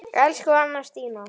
Elsku Anna Stína.